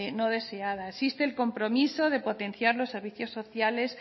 no deseada existe el compromiso de potenciar los servicios sociales